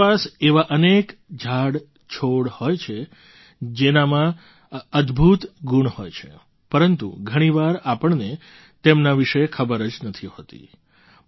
આપણી આસપાસ એવાં અનેક ઝાડછોડ હોય છે જેનામાં અદભૂત ગુણ હોય છે પરંતુ ઘણી વાર આપણને તેમના વિશે ખબર જ નથી હોતી